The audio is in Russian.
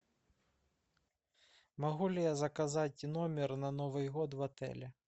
могу ли я заказать номер на новый год в отеле